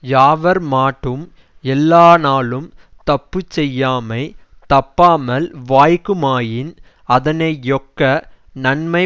யாவர்மாட்டும் எல்லாநாளும் தப்புச்செய்யாமை தப்பாமல் வாய்க்குமாயின் அதனையொக்க நன்மை